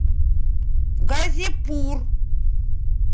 газипур